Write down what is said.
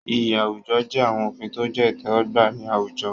Iyì àwùjọ jẹ́ àwọn òfin tó jẹ́ ìtẹ́wọ́gbà ní àwùjọ.